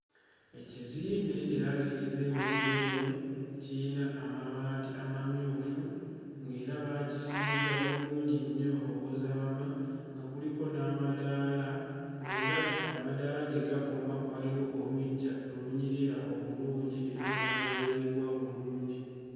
Ekizimbe era ng'ekizimbe kino eno kiyina amabaati amamyufu ng'era baakisiiga bulungi nnyo okuzaama nga kuliko n'amadaala ng'era amadaala gye gakoma waliwo oluggya olunyirira obulungi era nga lwayerebbwa bulungi.